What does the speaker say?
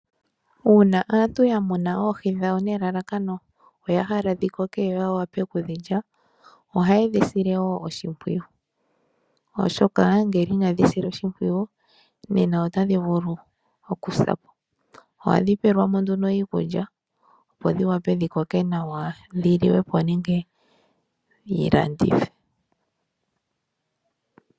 Uuna aantu yamuna oohi dhawo nelalakano oya hala dhikoke yo yawape okudhilya. Ohaye dhisile wo oshimpwiyu oshoka ngele inadhi silwa oshimpwiyu nena otadhi vulu okusa po. Ohadhi pewelwa mo nduno iikulya opo dhiwape dhikoke nawa dhiliwe po nenge dhilandithwe.